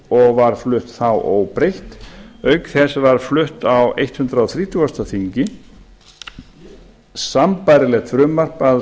þá og var flutt þá óbreytt auk þess var flutt á hundrað þrítugasta þingi sambærilegt frumvarp að